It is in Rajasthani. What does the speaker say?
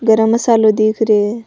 गरम मसालों दिख रियो है।